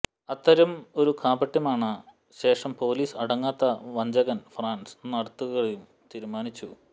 അത്തരം ഒരു കാപട്യമാണ് ശേഷം പോലീസ് അടങ്ങാത്ത വഞ്ചകൻ ഫ്രാൻസ് നാടുകടത്തുക തീരുമാനിച്ചു